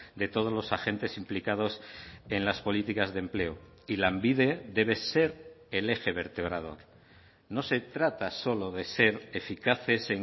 de todos los agentes implicados en las políticas de empleo y lanbide debe ser el eje vertebrador no se trata solo de ser eficaces